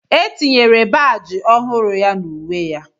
E tinyere baajị ọhụrụ ya na uwe ya